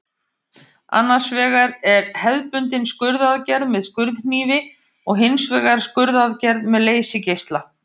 Annars vegar er hefðbundin skurðaðgerð með skurðhnífi og hins vegar skurðaðgerð með leysigeisla.